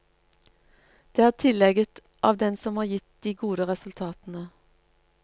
Det er tillegget av den som har gitt de gode resultatene.